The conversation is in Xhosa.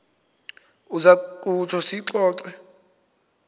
uza kutsho siyixoxe